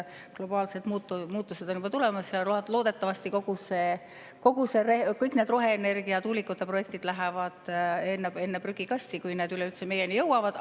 Globaalsed muutused on juba tulemas ja loodetavasti kõik need roheenergia- ja tuulikute projektid lähevad enne prügikasti, kui need üleüldse meieni jõuavad.